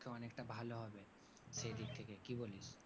তো অনেকটা ভালো হবে সেই দিক থেকে, কি বলিস?